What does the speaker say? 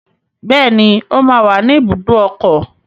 Bẹ́ẹ̀ni, ó máa wà ní ibùdó ọkọ̀.